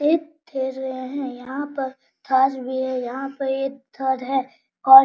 ये खेल रहे हैं यहां पर फर्श भी है यहां पे ये घर है और --